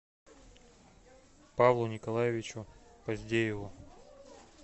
павлу николаевичу поздееву